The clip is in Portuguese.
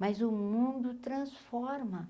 Mas o mundo transforma,